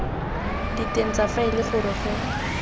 diteng tsa faele gore go